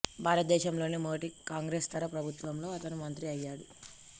భారతదేశం లోని మొదటి కాంగ్రెసేతర ప్రభుత్వంలో అతను మంత్రి అయ్యాడు